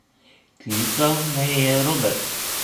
Klical me je Robert.